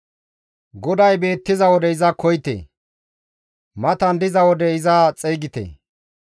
GODAY beettiza wode iza koyite; matan diza wode iza xeygite.